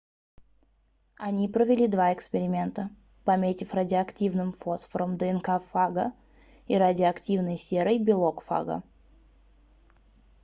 они провели два эксперимента пометив радиоактивным фосфором днк фага и радиоактивной серой белок фага